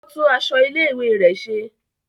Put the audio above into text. O tún aṣọ ilé-ìwé rẹ ṣe.